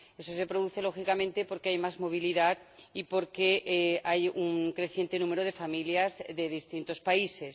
Eso se produce lógicamente porque hay más movilidad y porque hay un creciente número de familias de distintos países.